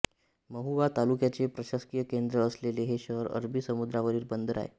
महुवा तालुक्याचे प्रशासकीय केन्द्र असलेले हे शहर अरबी समुद्रावरील बंदर आहे